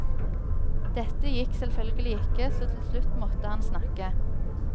Dette gikk selvfølgelig ikke, så til slutt måtte han snakke.